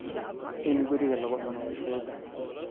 In guriga lagu cuno way fududahay.